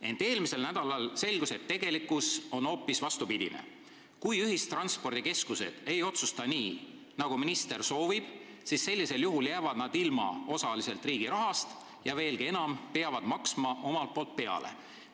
Ent eelmisel nädalal selgus, et tegelikkus on hoopis vastupidine: kui ühistranspordikeskused ei otsusta nii, nagu minister soovib, jäävad nad osaliselt ilma riigi rahast ja veelgi enam, peavad omalt poolt peale maksma.